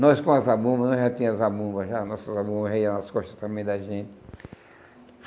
Nós com as abumas, nós já tínhamos as abumas já, as nossas abumas nas costas também da gente.